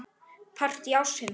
Partí ársins?